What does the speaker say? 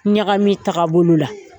Ɲagami taga bolo la.